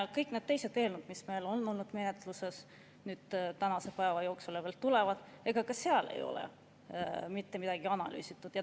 Kõik need teised eelnõud, mis meil on olnud menetluses tänase päeva jooksul või veel tulevad siia – ega ka seal ei ole mitte midagi analüüsitud.